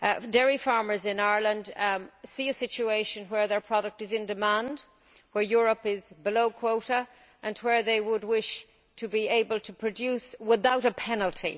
Dairy farmers in Ireland see a situation where their product is in demand, where Europe is below quota and where they would wish to be able to produce without a penalty.